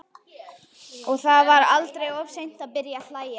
Og það er aldrei of seint að byrja að hlæja.